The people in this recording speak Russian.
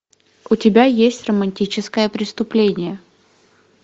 у тебя есть романтическое преступление